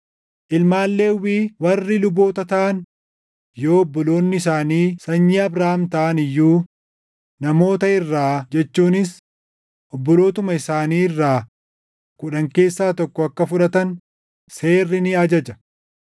Ilmaan Lewwii warri luboota taʼan yoo obboloonni isaanii sanyii Abrahaam taʼan iyyuu namoota irraa jechuunis obbolootuma isaanii irraa kudhan keessaa tokko akka fudhatan seerri ni ajaja.